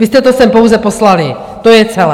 Vy jste to sem pouze poslali, to je celé!